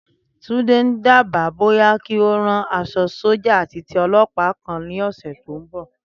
Túndé ń dábàá bóyá kí ó rán aṣọ sọ́jà àti ti ọlọ́pàá kan lọ́sẹ̀ tó ń bọ̀.